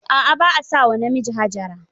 A'a. ba a sa wa namiji Hajara